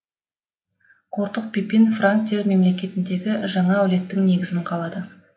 қортық пипин франктер мемлекетіндегі жаңа аулеттің негізін қалады